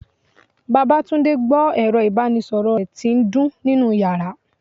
babatunde gbó erò ibanísoro re ti n dun ninú yara.